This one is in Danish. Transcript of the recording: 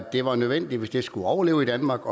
det var nødvendigt hvis den skulle overleve i danmark